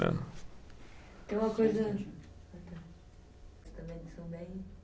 Tem uma coisa. Ah, tá.